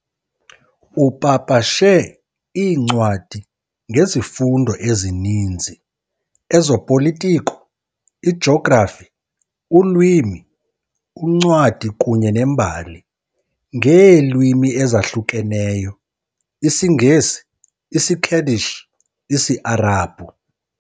Upapashe iincwadi ngezifundo ezininzi, ezopolitiko, ijografi, ulwimi, uncwadi kunye nembali, ngeelwimi ezahlukeneyo, isiNgesi, isiKurdish, isiArabhu.